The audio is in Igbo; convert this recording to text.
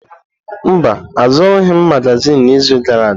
Mba, azụrụghị m magazin n’izu gara aga.